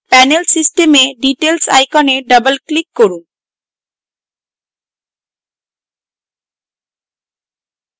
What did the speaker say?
panel system এ details icon double click করুন